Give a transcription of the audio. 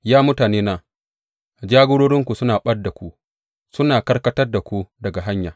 Ya mutanena, jagorarinku suna ɓad da ku; suna karkatar da ku daga hanya.